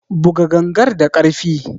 Buga gangar da karfi!